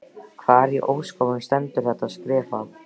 Hvar í ósköpunum stendur þetta skrifað?